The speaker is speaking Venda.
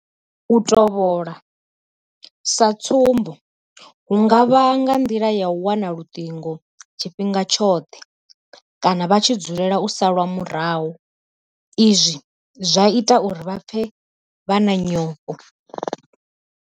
U tovhola sa tsumbo hu nga vha nga nḓila ya u wana luṱingo tshifhinga tshoṱhe kana vha tshi dzulela u salwa murahu izwi zwa ita uri vha pfe vha na nyofho.